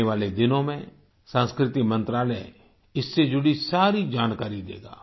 आने वाले दिनों में संस्कृति मंत्रालय इससे जुड़ी सारी जानकारी देगा